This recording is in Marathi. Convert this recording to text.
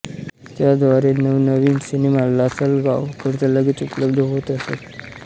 त्याद्वारे नवनवीन सिनेमा लासलगाव करिता लगेच उपलब्ध होत असत